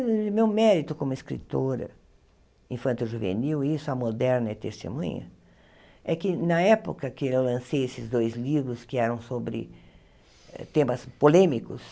Meu mérito como escritora infanto-juvenil, isso, a moderna é testemunha, é que, na época que eu lancei esses dois livros, que eram sobre temas polêmicos,